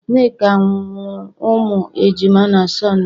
Nneka muru umu ejima na Sọnde